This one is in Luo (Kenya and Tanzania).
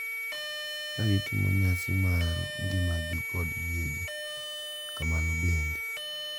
ka gitimo nyasi mar ngimagi kod yiegi. Kamano bende,